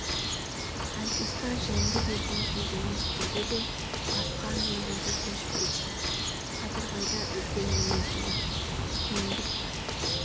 айтысты жеңді дейтін сөз емес деді де басқа әңгімелерге көшіп кетті қадырбайда үлкен мінезділік кеңдік бар